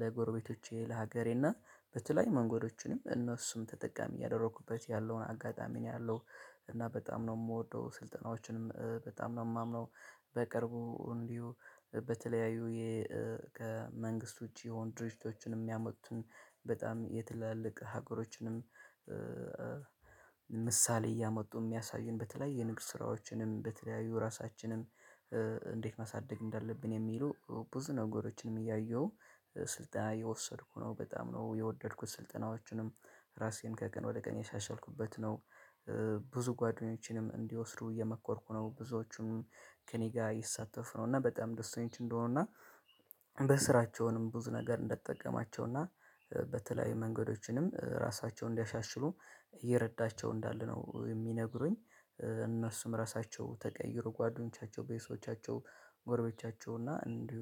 ለጎረቤቶቼ ለሀገሬ እና በተለይ መንገዶችንም እነሱም ተጠቃሚ እያደረኩበት ያለውን አጋጣሚ ነው ያለው። እና በጣም ነው የምወደው ስልጠናዎችንም በጣም ነው የማምነው። በቅርቡ እንዲሁ በተለያዩ የእ ከመንግስት ውጪ የሆኑ ድርጅቶችንም ያመቱን በጣም የትላልቅ ሀገሮችንም። ምሳሌ እያመጡ የሚያሳዩን በተለያዩ የንግስ ስራዎችንም በተለያዩ ራሳችንም እንዴት ማሳደግ እንዳለብን የሚሉ ብዙ ነገሮችንም እያየሁ ስልጠና እየወሰድኩ ነው በጣም ነው የወደድኩት ስልጠናዎችንም ራሴን ከቀን ወደ ቀን እያሻሻልኩበት ነው። ብዙ ጓደኞችንም እንዲወስዱ እየመኮርኩ ነው ብዙዎቹም ከእኔ ጋር ይሳተፉ ነው እና በጣም ደስተኞች እንደሆኑ እና በስራቸውንም ብዙ ነገር እንደጠቀማቸውና በተለያዩ መንገዶችንም ራሳቸውን እንዲያሻሽሉ እየረዳቸው እንዳለ ነው የሚነግሩኝ። እነሱም ራሳቸው ተቀይሮ ጓደኞቻቸው ቤተሰቦቻቸው ጎረቤቶቻቸው እና እንዲሁ